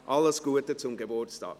Alles Gute zum Geburtstag!